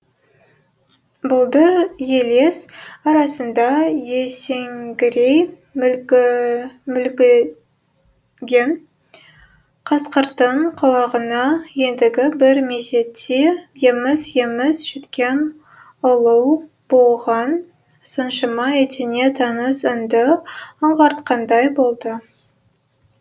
бұлдыр елес арасында есеңгірей мүлгіген қасқырдың құлағына ендігі бір мезетте еміс еміс жеткен ұлу бұған соншама етене таныс үнді аңғартқандай болды